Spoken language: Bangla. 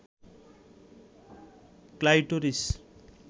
ক্লাইটোরিস